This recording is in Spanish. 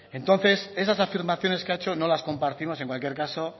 entonces esas afirmaciones que ha hecho no las compartimos en cualquier caso